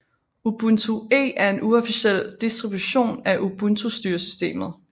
Ubuntu Eee er en uofficiel distribution af Ubuntu styresystemet